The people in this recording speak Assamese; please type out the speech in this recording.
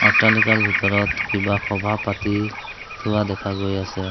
অট্টালিকাৰ ভিতৰত কিবা সভা পাতি থোৱা দেখা গৈ আছে।